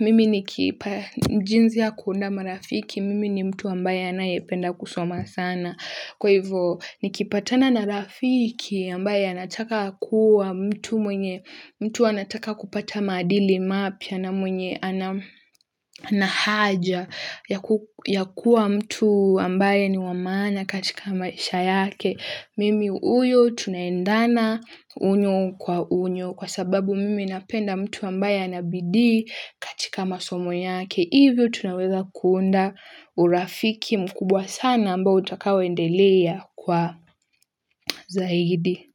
mimi nikipa jinsi ya kuunda marafiki mimi ni mtu ambaye anayependa kusoma sana kwa hivyo nikipatana na rafiki ambaye anataka kuwa mtu mwenye mtu anataka kupata maadili mapya na mwenye ana haja ya kuwa mtu ambaye ni wa maana katika maisha yake mimi huyo tunaendana unyo kwa unyo kwa sababu mimi napenda mtu ambaye ana bidii katika masomo yake. Hivyo tunaweza kuunda urafiki mkubwa sana ambao utakao endelea kwa zaidi.